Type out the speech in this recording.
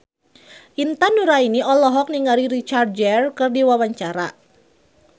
Intan Nuraini olohok ningali Richard Gere keur diwawancara